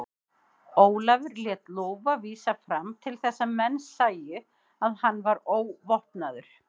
Ólafur lét lófa vísa fram til þess að menn sæju að hann var óvopnaður.